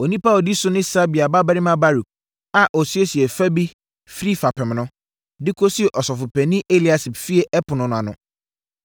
Onipa a ɔdi so ne Sabai babarima Baruk a ɔsiesiee fa bi firi fapem no, de kɔsii ɔsɔfopanin Eliasib fie ɛpono no ano.